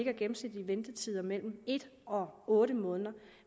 er gennemsnitlige ventetider på mellem en og otte måneder